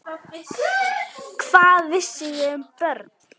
Hvað vissi ég um börn?